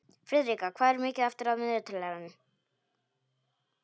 Friðrika, hvað er mikið eftir af niðurteljaranum?